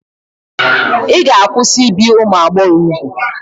Ị ga-akwụsị ibi ụmụ agbọghọ úgwù.